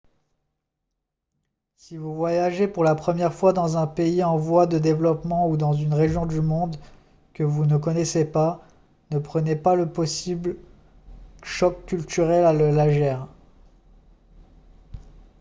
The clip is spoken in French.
si vous voyagez pour la première fois dans un pays en voie de développement ou dans une région du monde que vous ne connaissez pas ne prenez pas le possible choc culturel à le légère